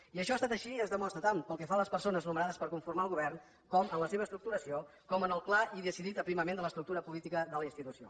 i això ha estat així i es demostra tant pel que fa a les persones nomenades per conformar el govern com en la seva estructuració com en el clar i decidit aprimament de l’estructura política de la institució